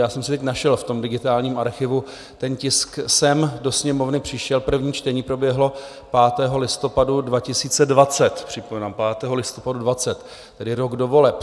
Já jsem si teď našel v tom digitálním archivu, ten tisk sem do Sněmovny přišel, první čtení proběhlo 5. listopadu 2020, připomínám, 5. listopadu 2020, tedy rok do voleb.